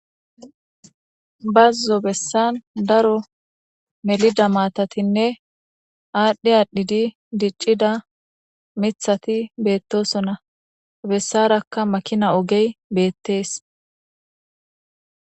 bazzo bessan daro melida maatatinne aadhdhi aadhidi diccida mithati beettosonna bessarakka makina ogey beettees